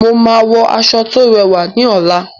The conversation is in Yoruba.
Mo máa wọ aṣọ tó rẹwà ní ọ̀la.